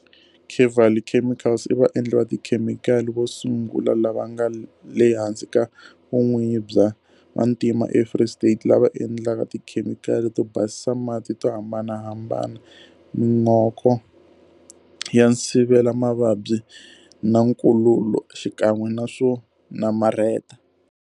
Kevali Chemicals i vaendli va tikhemikhali vo sungula lava nga le hansi ka vun'winyi bya vantima eFree State lava endlaka tikhemikhali to basisa mati to hambanahambana, min'oko ya nsivelamavabyi na nkululo xikan'we na swo namarheta.